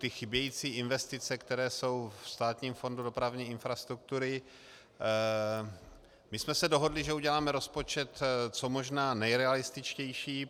Ty chybějící investice, které jsou ve Státním fondu dopravní infrastruktury - my jsme se dohodli, že uděláme rozpočet co možná nejrealističtější.